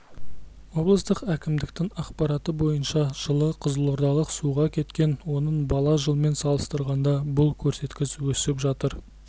облыстық әкімдіктің ақпараты бойынша жылы қызылордалық суға кеткен оның бала жылмен салыстырғанда бұл көрсеткіш өсіп отыр